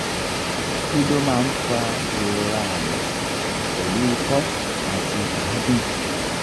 kí ló máa ń fa ìrora àyà pelu iko ati agun?